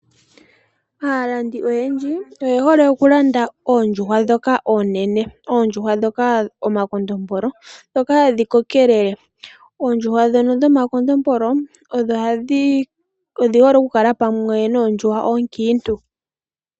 Aalandi oyendji oye hole okulanda oondjuhwa ndhoka oonene. Oondjuhwa ndhoka omakondombolo ndhoka hadhi kokelele. Oondjuhwa ndhono dho makondombolo odhi hole oku kala pamwe noondjuhwa oonkiintu.